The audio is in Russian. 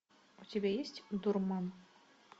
у тебя есть дурман